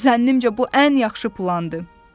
Zənnimcə bu ən yaxşı plandır."